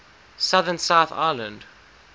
southern south island